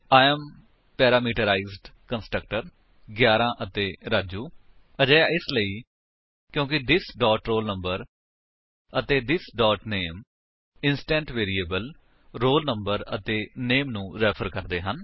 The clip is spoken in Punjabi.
I ਏਐਮ ਪੈਰਾਮੀਟਰਾਈਜ਼ਡ ਕੰਸਟ੍ਰਕਟਰ 11 ਅਤੇ ਰਾਜੂ ਅਜਿਹਾ ਇਸਲਈ ਕਿਉਂਕਿ ਥਿਸ ਡੋਟ roll number ਅਤੇ this dot name instance variables roll number ਅਤੇ ਨਾਮੇ ਨੂੰ ਰੈਫ਼ਰ ਕਰਦੇ ਹਨ